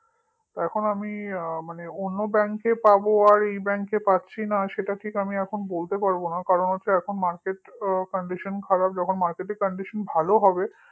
এখন আমি অন্য bank এ পাব আর এই bank এ পাচ্ছি না সেটা ঠিক আমি এখন বলতে পারব না কারণ হচ্ছে market র condition খুব খারাপ যখন এর marketcondition ভালো হবে